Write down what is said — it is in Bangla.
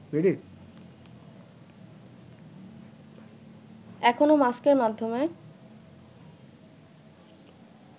এখনও মাস্কের মাধ্যমে